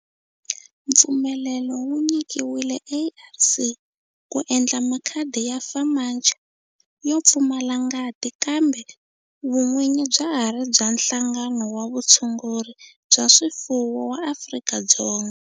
Mpfumelelo wu nyikiwile ARC ku endla makhadi ya FAMACHA yo pfumala ngati kambe vun'winyi bya ha ri bya Nhlangano wa Vutshunguri bya swifuwo wa Afrika-Dzonga.